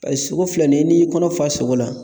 Paseke sogo filɛ nin ye n'i y'i kɔnɔ fa sogo la